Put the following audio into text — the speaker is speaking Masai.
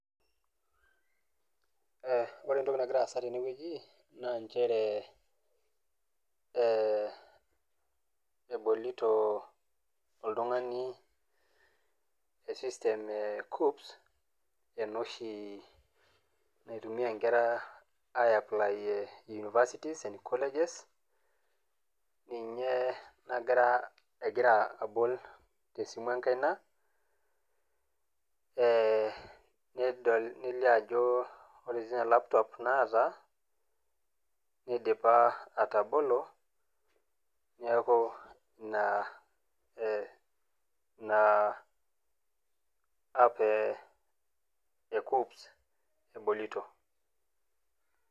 aa ore entoki nagira aasa tenewueji, naa ee ebolito oltung'ani e system cupp ena oshi naitumia nkera aiplaayie universities and colleges ninye nagira egira abol tesimu enkaina, eeh nidol nelio ajo ore sii ninye laptop naata neidipa atabolo, neeku ina ee ina app ee cupps ebolito.